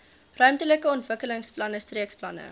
ruimtelike ontwikkelingsplanne streekplanne